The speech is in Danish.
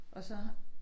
Og så